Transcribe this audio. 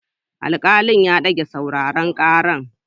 Alkalin ya dage sauraron karar.